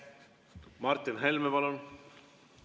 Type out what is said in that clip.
Martin Helme, palun!